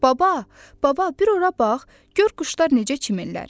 Baba, baba, bir ora bax, gör quşlar necə çimirlər!